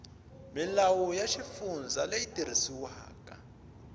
milawu ya xifundza leyi tirhisiwaka